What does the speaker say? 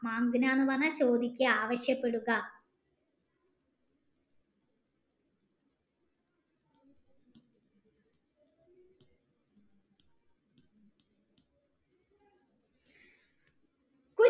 ചോദിക്ക ആവിശ്യപ്പെടുക